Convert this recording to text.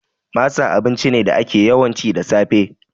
Masa abinci ne da ake ci, yawanci da safe